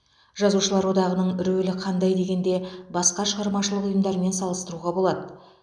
жазушылар одағының рөлі қандай дегенде басқа шығармашылық ұйымдармен салыстыруға болады